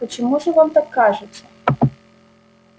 почему же вам так кажется